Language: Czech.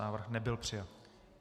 Návrh nebyl přijat.